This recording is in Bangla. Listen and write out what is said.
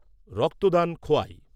রক্তদান খোয়াই